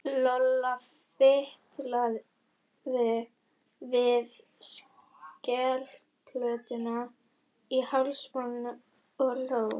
Lolla fitlaði við skelplötuna í hálsmálinu og hló.